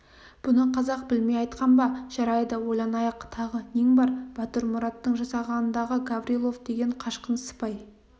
бұны қазақ білмей айтқан ба жарайды ойланайық тағы нең бар батырмұраттың жасағындағы гаврилов деген қашқын сыпай